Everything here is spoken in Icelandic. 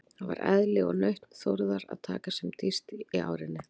Það var eðli og nautn Þórðar að taka sem dýpst í árinni.